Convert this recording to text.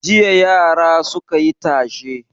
Jiya yara suka yi tashe.